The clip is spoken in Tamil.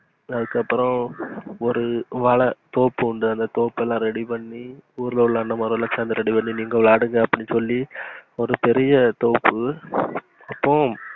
அதுக்கு அப்புறம் ஒரு விள தோப்பு உண்டு தோப்பலாம் ready பண்ணி ஊருல உள்ள அன்னமாருங்க யெல்லாம் சேந்து ready பண்ணி, நீங்க விளையாடுங்க அப்டீனு சொல்லி, ஒரு பெரிய தோப்பு போம்